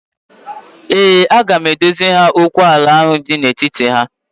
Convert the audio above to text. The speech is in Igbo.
Ee, aga m edoziri ha okwu ala ahụ dị n'etiti ha